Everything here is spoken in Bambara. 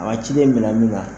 A ka cdeni minɛ min na